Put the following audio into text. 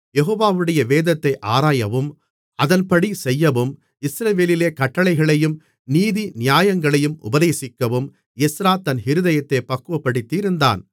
யெகோவாவுடைய வேதத்தை ஆராயவும் அதன்படி செய்யவும் இஸ்ரவேலிலே கட்டளைகளையும் நீதிநியாயங்களையும் உபதேசிக்கவும் எஸ்றா தன் இருதயத்தைப் பக்குவப்படுத்தியிருந்தான்